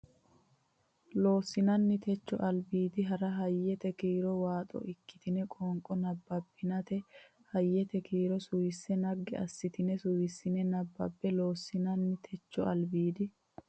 Loossinanni techo albiidi barra Hayyete kiiro waaxo ikkitine qoonqo nabbabbinita hayyete kiiro suwise naggi assitine suwissine nabbabbe Loossinanni techo albiidi.